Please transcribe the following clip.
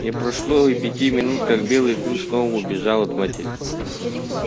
не прошло и пяти минут как белый клык снова убежал от матери